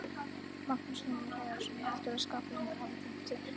Magnús Hlynur Hreiðarsson: Heldurðu að skaparinn hafi gleymt þér?